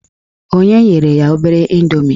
O nyere ya obere indomie.